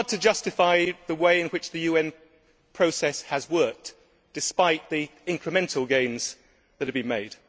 It is hard to justify the way in which the UN process has worked, despite the incremental gains that have been made.